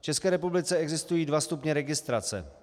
V České republice existují dva stupně registrace.